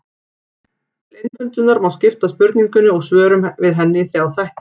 Til einföldunar má skipta spurningunni og svörum við henni í þrjá þætti.